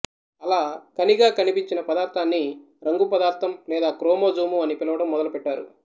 అలా ఖణిగా కనిపించిన పదార్థాన్ని రంగు పదార్థం లేదా క్రోమోజోము అని పిలవటం మొదలు పెట్టేరు